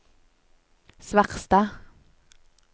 Svarstad